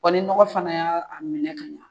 ni nɔgɔ fana y'a a minɛ ka ɲɛ